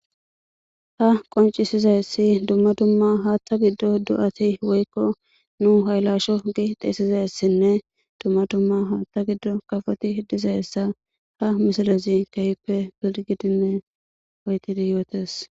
Ha qoncisizayssi dumma dumma haaththa giddo do'ati woykko nu haylasho gi xeesizessinne dumma dumma haaththa giddo kafoti dizayssa ha misilezi keehippe bilgidinne oytidi yootes.